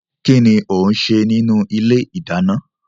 Kínní ó ń ṣe nínú ilé ìdáná?